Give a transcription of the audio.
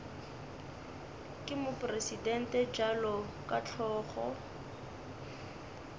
ke mopresidente bjalo ka hlogo